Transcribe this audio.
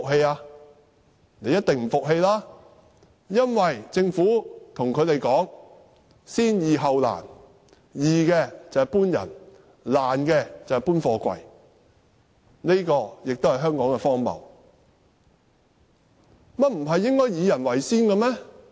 他們一定不服氣，因為政府對他們說"先易後難"，"易"的就是要求村民離開，"難"的就是移走貨櫃。